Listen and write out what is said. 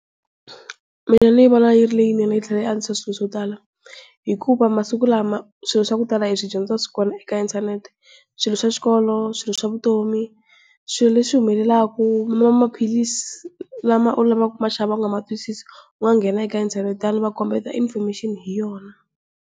Mina ni vona yi ri leyinene yi tlhela yi antswisa swilo swo tala. Hikuva masiku lama swilo swa ku tala hi swi dyondza swi kona ka inthanete. Swilo swa xikolo, swilo swa vutomi, swilo leswi humelelaku u nwa maphilisi lama u lavaka ku maxava u nga matwisisi u nga nghena eka inthanete va ku kombeta information hi yona.